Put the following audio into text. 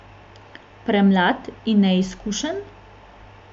Premlad in neizkušen?